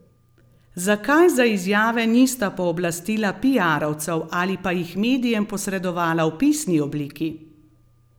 Zakaj za izjave nista pooblastila piarovcev ali pa jih medijem posredovala v pisni obliki?